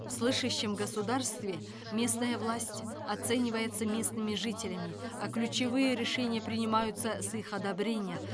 в слышащем государстве местная власть оценивается местными жителями а ключевые решения принимаются с их одобрения